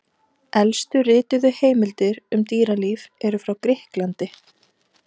Elstu rituðu heimildir um dýralíf eru frá Grikklandi.